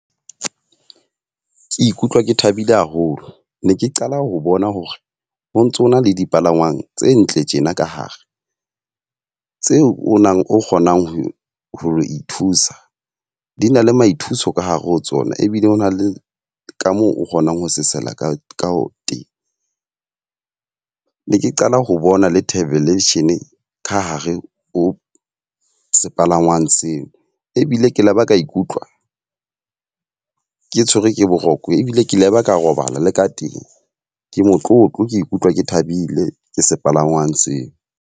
Ke ikutlwa ke thabile haholo. Ne ke qala ho bona hore ho ntsona le dipalangwang tse ntle tjena ka hare. Tseo o nang o kgonang ho ho ithusa, di na le maithuso ka ke hare ho tsona ebile o na le ka moo o kgonang ho sesela ka ka teng. Ne ke qala ho bona le thabelasion ka hare ho sepalangwang seo. Ebile ke laba ka ikutlwa ke tshwerwe ke boroko ebile ke laba ka robala le ka teng. Ke motlotlo ke ikutlwa ke thabile ke sepalangwang seo.